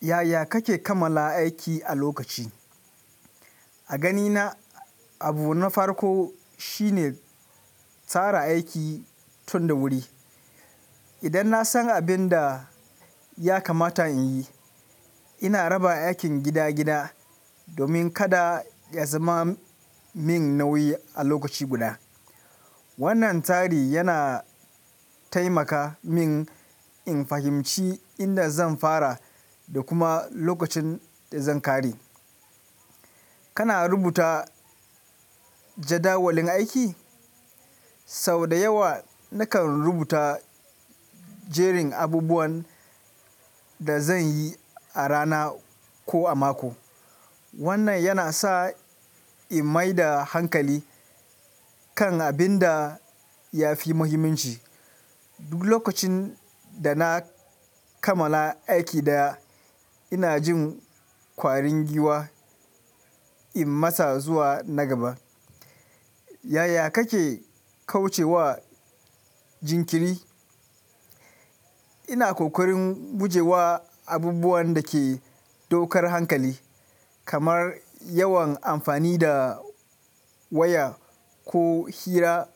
Yaya kake kammala aiki a lokaci? A ganina abu na farko shine tsara aiki tun da wuri. Idan na san abin da ya kamata in yi, ina raba aikin gida-gida domin kada ya zama min nauyi a lokaci guda. Wannan tsari yana taimaka min in fahimci inda zan fara da kuma lokacin da zan ƙare. Kana rubuta jadawalin aiki? Sau da yawa nakan rubuta jerin abubuwan da zan yi a rana ko a mako. Wannan yana sa in maida hankali kan abin da ya fi muhimmanci. Duk lokacin da na kamala aiki daya, ina jin ƙwarin giwa in matsa zuwa na gaba. Yaya kake kauce wa jinkiri? Ina kokarin guje wa abubuwan da ke ɗaukar hankali, kamar yawan amfani da waya ko hira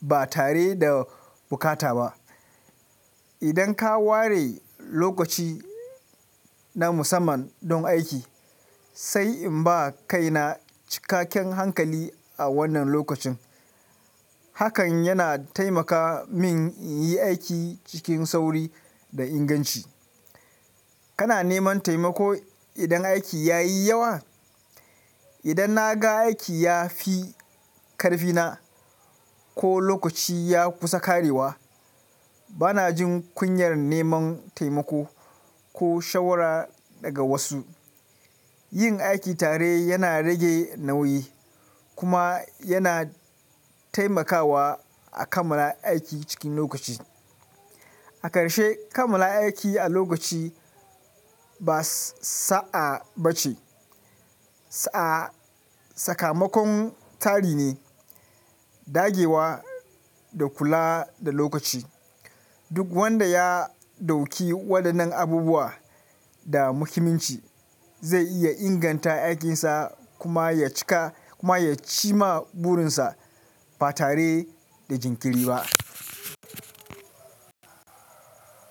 ba tare da bukata ba. Idan ka ware lokaci na musamman don aiki, sai in ba kaina cikakken hankali a wannan lokacin. Hakan yana taimaka min in yi aiki cikin sauri da inganci. Kana neman taimako idan aiki ya yi yawa? Idan na ga aiki ya fi ƙarfina ko lokaci ya kusa ƙarewa, bana jin kunyar neman taimako ko shawara daga wasu. Yin aiki tare yana rage nauyi kuma yana taimakawa a kamala aiki cikin lokaci. A ƙarshe, kamalla aiki a lokaci, ba sa'a ba ce. Sa'a sakamakon tsari ne, dage wa da kula da lokaci. Duk wanda ya ɗauki waɗannan abubuwa da muhimmanci zai iya inganta aikinsa kuma ya cika kuma ya ci ma burinsa ba tare da jinkiri ba.